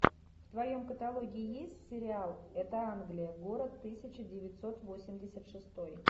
в твоем каталоге есть сериал это англия город тысяча девятьсот восемьдесят шестой